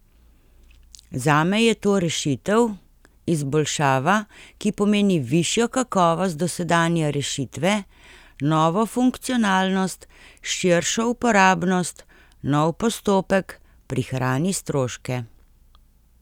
Zame je to rešitev, izboljšava, ki pomeni višjo kakovost dosedanje rešitve, novo funkcionalnost, širšo uporabnost, nov postopek, prihrani stroške.